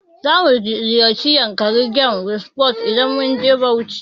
Zamu ziyarci yankari game reserve idan mun je Bauchi.